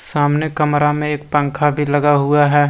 सामने कमरा में एक पंखा भी लगा हुआ है ।